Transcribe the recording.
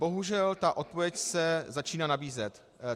Bohužel ta odpověď se začíná nabízet.